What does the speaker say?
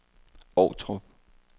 Ovtrup